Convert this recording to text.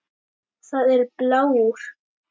Það er blár.